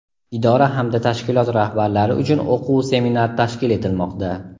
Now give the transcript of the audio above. idora hamda tashkilot rahbarlari uchun o‘quv-seminar tashkil etilmoqda.